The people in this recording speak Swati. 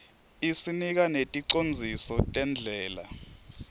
isinika neticondziso tendlela